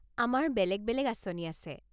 আমাৰ বেলেগ বেলেগ আঁচনি আছে।